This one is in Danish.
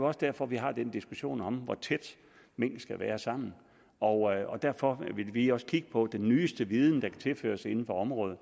også derfor vi har den diskussion om hvor tæt mink skal være sammen og derfor vil vi også kigge på den nyeste viden der kan tilføres inden for området